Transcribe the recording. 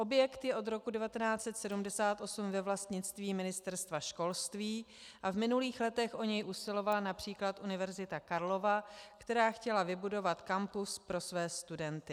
Objekt je od roku 1978 ve vlastnictví Ministerstva školství a v minulých letech o něj usilovala například Univerzita Karlova, která chtěla vybudovat kampus pro své studenty.